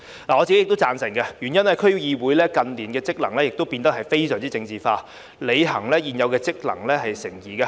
我本人亦贊同，原因是區議會近年的職能已變得非常政治化，履行原有職能成疑。